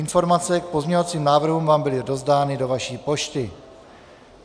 Informace k pozměňovacím návrhům vám byly rozdány do vaší pošty.